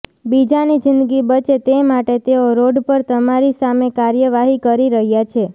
બીજાની જિંદગી બચે તે માટે તેઓ રોડ પર તમારી સામે કાર્યવાહી કરી રહ્યા છે